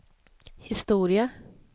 historia